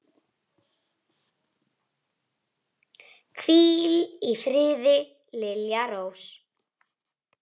Hvíl í friði, Lilja Rós.